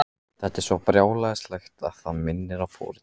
Þetta er svo brjálæðislegt að það minnir á fórn.